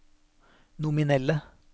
nominelle